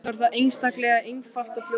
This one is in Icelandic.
Svo er það einstaklega einfalt og fljótlegt.